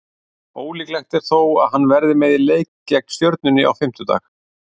Ólíklegt er þó að hann verði með í leik gegn Stjörnunni á fimmtudag.